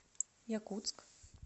якутск